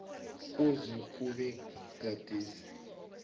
kuze kube gadesi